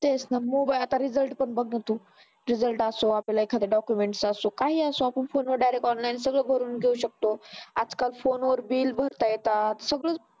तेच ना आता मोठा तेवढा मोबाईल आता result पण बघ ना तू results असो आपल्याला एखादा documents असो काही असो आपण फोनवर direct online सगळं भरून घेऊ शकतो. आज-काल फोनवर बिल भरता येतात सगळं